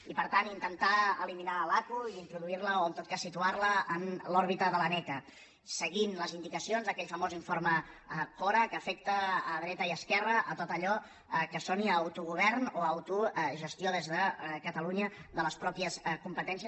i per tant intentar eliminar l’aqu i introduirla o en tot cas situarla en l’òrbita de l’aneca seguint les indicacions d’aquell famós informe cora que afecta a dreta i esquerra a tot allò que soni a autogovern o a autogestió des de catalunya de les pròpies competències